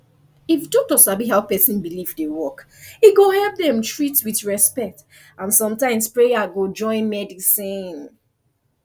if doctor sabi how person belief dey work e go help dem treat with respect and sometimes prayer go join medicine